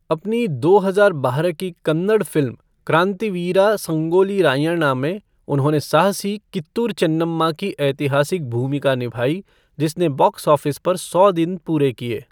अपनी दो हज़ार बारह की कन्नड़ फ़िल्म क्रांतिवीरा संगोली रायण्णा में उन्होंने साहसी कित्तूर चेन्नम्मा की ऐतिहासिक भूमिका निभाई, जिसने बॉक्स ऑफिस पर सौ दिन पूरे किए।